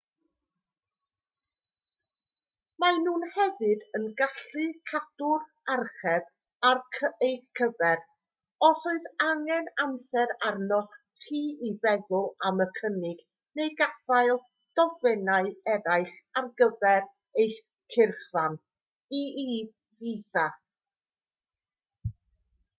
maen nhw hefyd yn gallu cadw'r archeb ar eich cyfer os oes angen amser arnoch chi i feddwl am y cynnig neu gaffael dogfennau eraill ar gyfer eich cyrchfan e.e. fisa